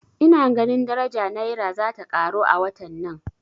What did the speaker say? Ina ganin daraja Naira zata karo a watan nan